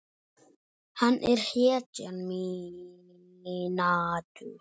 Hann er hetjan mín.